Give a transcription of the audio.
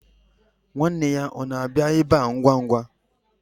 Nwanne ya ọ na-abịa ebe a ngwa ngwa?